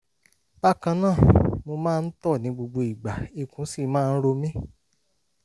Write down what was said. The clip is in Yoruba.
bákan náà mo máa ń tọ̀ ní gbogbo ìgbà ikùn sì máa ń ro mi